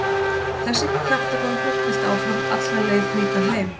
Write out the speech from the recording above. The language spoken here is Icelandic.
Þessi kjaftagangur hélt áfram alla leið hingað heim.